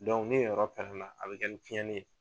ni yen yɔrɔ pɛrɛn na a bɛ kɛ ni cɛnni ye.